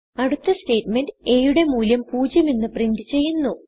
അടുത്ത statement a യുടെ മൂല്യം 0 എന്ന് പ്രിന്റ് ചെയ്യുന്നു